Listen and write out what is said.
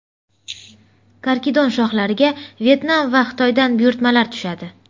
Karkidon shoxlariga Vyetnam va Xitoydan buyurtmalar tushadi.